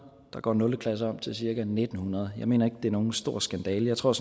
der går nul klasse om til cirka en tusind ni hundrede og jeg mener ikke det er nogen stor skandale jeg tror